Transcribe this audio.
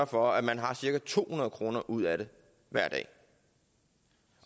for at man har cirka to hundrede kroner ud af det hver dag